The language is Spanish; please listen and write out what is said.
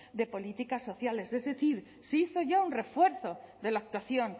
de políticas sociales es decir se hizo ya un refuerzo de la actuación